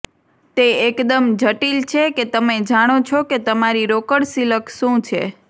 તે એકદમ જટિલ છે કે તમે જાણો છો કે તમારી રોકડ સિલક શું છે